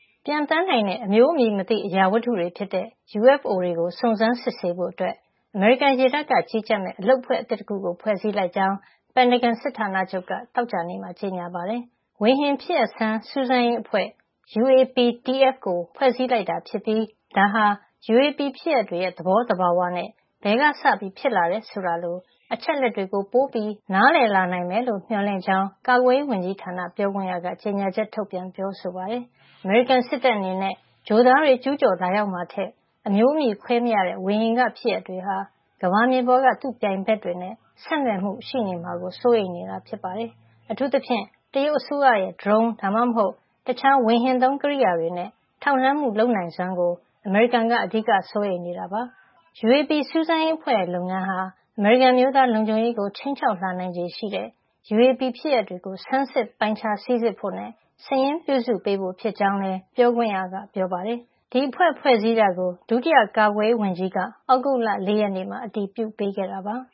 ပျံသန်းနိုင်တဲ့ အမျိုးအမည်မသိ အရာဝတ္ထုတွေဖြစ်တဲ့ UFO တွေကို စုံစမ်း စစ်ဆေးဖို့အတွက် အမေရိကန်ရေတပ်က ကြီးကြပ်မယ့် အဖွဲ့သစ်တခုကို ဖွဲ့စည်းလိုက်ကြောင်း ပင်တဂွန်စစ်ဌာနချုပ်က သောကြာနေ့မှာ ကြေညာပါတယ်။ Unidentified Aerial Phenomena Task Force (UAPTF) ဝေဟင်ဖြစ်ရပ်ဆန်း စူးစမ်းရေးအဖွဲ့ကို ဖွဲ့စည်းလိုက်တာဖြစ်ပြီး ဒါဟာ UAP ဖြစ်ရပ်တွေရဲ့ သဘောသဘာဝနဲ့ ဘယ်ကစဖြစ်လာတယ် ဆိုတာလို အချက်လက်တွေကို ပိုနားလည်လာနိုင်မယ်လို့ မျှော်လင့်ကြောင်း ကာကွယ်ရေးဝန်ကြီးဌာန ပြောခွင့်ရ Susan Gough က ကြေညာချက်ထုတ်ပြန် ပြောဆိုပါတယ်။ အမေရိကန်စစ်တပ်အနေနဲ့ ဂြိုဟ်သားတွေ ကျူးကျော်လာရောက်မှာထက် အမျိုးအမည်ခွဲမရတဲ့ ဝေဟင်က ဖြစ်ရပ်တွေဟာ ကမ္ဘာမြေပေါ်က သူ့ပြိုင်ဘက်တွေနဲ့ ဆက်နွှယ်မှု ရှိနေမှာကို စိုးရိမ်နေတာ ဖြစ်ပါတယ်။ အထူးသဖြင့် တရုတ်အစိုးရရဲ့ Drone ဒါမှမဟုတ် တခြား ဝေဟင်သုံး ကိရိယာတွေနဲ့ ထောက်လှမ်းမှု လုပ်နိုင်စွမ်းကို အမေရိကန်က အဓိက စိုးရိမ်နေတာ ဖြစ်ပါတယ်။ UAP စူးစမ်းရေးအဖွဲ့ရဲ့ လုပ်ငန်းဟာ အမေရိကန် အမျိုးသားလုံခြုံရေးကို ခြိမ်းခြောက်လာနိုင်ခြေရှိတဲ့ UAP ဖြစ်ရပ်တွေကို ဆန်းစစ်ပိုင်းခြား စိစစ်ဖို့နဲ့ စာရင်းပြုစုပေးဖို့ ဖြစ်ကြောင်းလည်း Gough က ပြောပါတယ်။ ဒီအဖွဲ့ ဖွဲ့စည်းတာကို ဒုတိယ ကာကွယ်ရေးဝန်ကြီး David Norquist က သြဂုတ်လ ၄ ရက်နေ့က အတည်ပြုပေးခဲ့တာပါ။